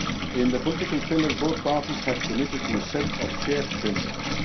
In the political pillar, both parties have committed to a set of shared principles.